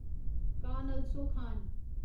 कान अलसो खान